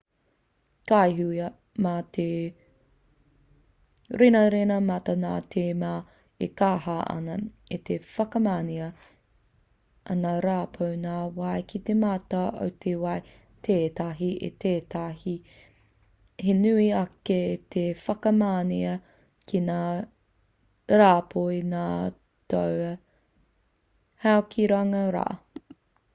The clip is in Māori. ka hua mai te renarena mata nā te mea e kaha ana te whakamanea a ngā rāpoi ngota wai ki te mata o te wai tētahi ki tētahi he nui ake i te whakamanea ki ngā rāpoi ngota hau ki runga rā